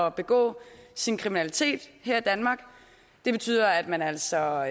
at begå sin kriminalitet her i danmark det betyder at man altså